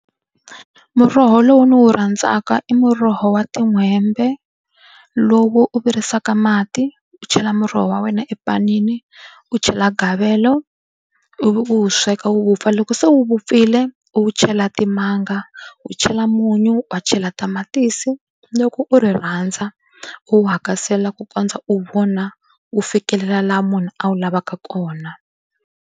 Muroho lowu ndzi wu rhandzaka i muroho wa tin'hwembe lowu u virisaka mati u chela muroho wa wena epanini u chela gavelo ivi u wu sweka wu vupfa loko se wu vupfile u chela timanga u chela munyu wa chela tamatisi loko u ri rhandza u hakasela ku kondza u vona wu fikelela laha munhu a wu lavaka kona.